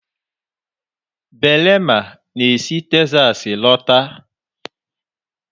Belema na esi Texas lọta.